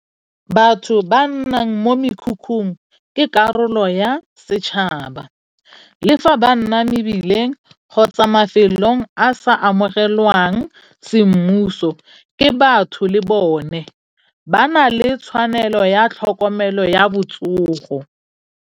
Batho ba nnang mo mekhukhung ke karolo ya setšhaba, le fa ba nna mebileng kgotsa mafelong a sa amogelwang semmuso, ke batho le bone. Ba na le tshwanelo ya tlhokomelo ya botsogo.